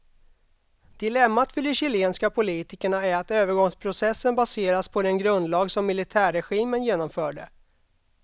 Dilemmat för de chilenska politikerna är att övergångsprocessen baserats på den grundlag som militärregimen genomförde.